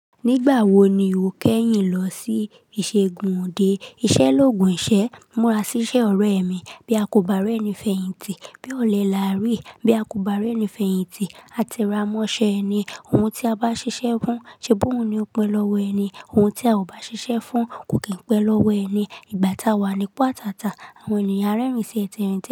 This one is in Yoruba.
"Nígbà wo ni o kẹ́yìn lọ sí ìṣègùn òde? Iṣẹ́ l'ògùn ìṣẹ́. Múra sí iṣẹ́ ọrẹ ẹ mi. Bí a kò bá rẹ́ni fèyìntì bí a òle làárí. Bí a kò bá rẹ́ni fèyìntì a tera mọ́ṣẹ́ ẹni. Ohun tí a bá ṣiṣẹ́ fún, ṣe bóhùn ni o pẹ́ lọ́wọ́ ẹni? Ohun tí a ò bá ṣiṣẹ́ fún kò kín pẹ́ lọ́wọ́ ẹni. Ìgbà tá a wà nípò àtàtà, àwọn ènìyàn á rẹ́rìn-ín sí ẹ́ tẹ́rin tẹ́rin in."